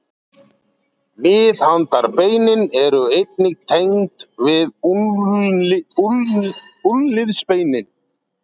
Miðhandarbeinin eru einnig tengd við úlnliðsbeinin.